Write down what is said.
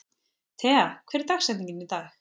Tea, hver er dagsetningin í dag?